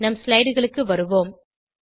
நம் slideகளுக்கு வருவோம்